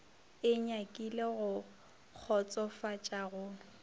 e nyakile go kgotsofatša go